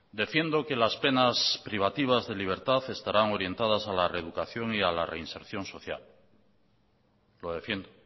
defiendo que las penas privativas de libertad estarán orientadas a la reeducación y a la reinserción social lo defiendo